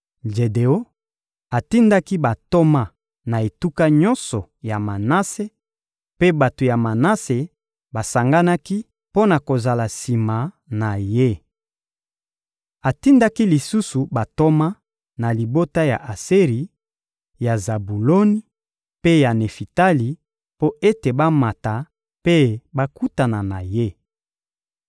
Jedeon atindaki bantoma na etuka nyonso ya Manase; mpe bato ya Manase basanganaki mpo na kozala sima na ye. Atindaki lisusu bantoma na libota ya Aseri, ya Zabuloni mpe ya Nefitali mpo ete bamata mpe bakutana na ye.